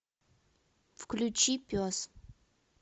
включи пес